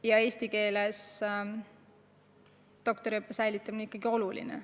Ja eesti keeles doktoriõppe säilitamine on ikkagi oluline.